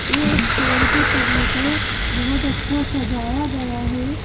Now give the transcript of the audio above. एक पेड़ के तने को बहुत अच्छा सजाया गया है।